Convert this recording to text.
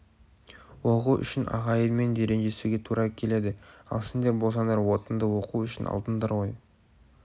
оқу үшін ағайынмен де ренжісуге тура келеді ал сендер болсаңдар отынды оқу үшін алдыңдар ғой